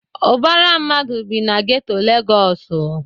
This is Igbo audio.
Ubara mmadụ bi na geto Legosu